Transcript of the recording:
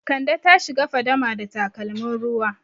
Kande ta shiga fadama da takalmin ruwa.